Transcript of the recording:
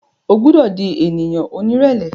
O gbọdọ di ènìyàn onírẹlẹ